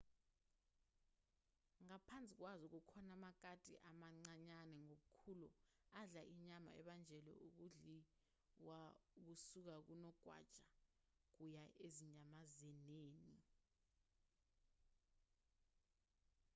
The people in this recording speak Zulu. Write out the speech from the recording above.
ngaphansi kwazo kukhona amakati amancanyana ngobukhulu adla inyama ebanjelwa ukudliwakusuka kunogwaja kuya ezinyamazaneni